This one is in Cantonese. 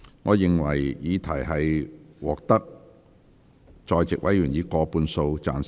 我認為議題獲得在席議員以過半數贊成。